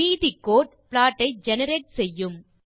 மீதி code plot ஐ generate செய்யும்